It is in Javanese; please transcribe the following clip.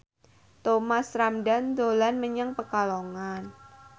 Thomas Ramdhan dolan menyang Pekalongan